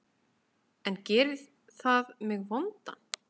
En gerir það mig vondan?